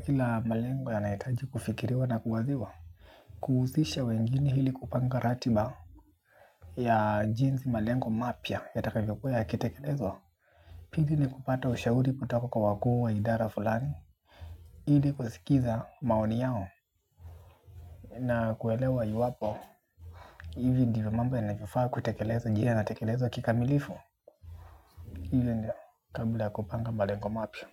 kila malengo yanahitaji kufikiriwa na kuwaziwa kuhusisha wengine ili kupanga ratiba ya jinsi malengo mapya yatakavyokuwa yakitekelezwa pili ni kupata ushauri kutoka kwa wakuu wa idara fulani ili kusikiza maoni yao na kuelewa iwapo hivi ndivyo mambo yanavyofaa kutekelezwa je yanatekelezwa kikamilifu? Hivi ndio kabla ya kupanga malengo mapya.